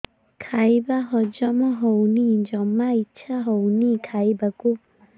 ଖାଇବା ହଜମ ହଉନି ଜମା ଇଛା ହଉନି ଖାଇବାକୁ